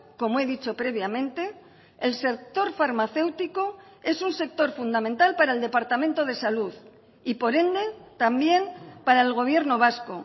como he dicho previamente el sector farmacéutico es un sector fundamental para el departamento de salud y por ende también para el gobierno vasco